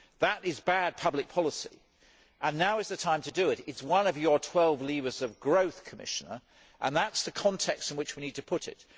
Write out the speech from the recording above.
That is bad public policy, and now is the time to do something about it it is one of your twelve levers of growth, Commissioner, and that is the context in which we need to put it.